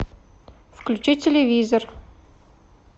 включи телевизор